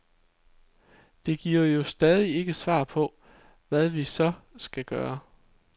Det giver jo stadig ikke svar på, hvad vi så skal gøre.